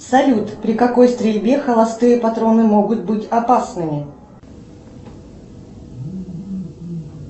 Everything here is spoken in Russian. салют при какой стрельбе холостые патроны могут быть опасными